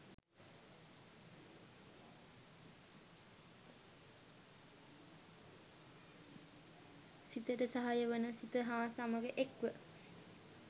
සිතට සහාය වන සිත හා සමඟ එක්ව